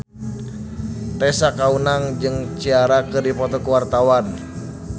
Tessa Kaunang jeung Ciara keur dipoto ku wartawan